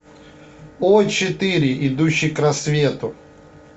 о четыре идущий к рассвету